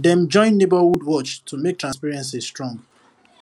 dem join neighborhood watch to make transparency strong